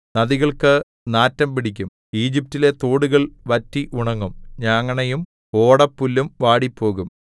നദികൾക്കു നാറ്റം പിടിക്കും ഈജിപ്റ്റിലെ തോടുകൾ വറ്റി ഉണങ്ങും ഞാങ്ങണയും ഓടപ്പുല്ലും വാടിപ്പോകും